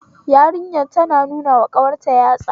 Yarinyar tana nunawa ƙawarta yatsa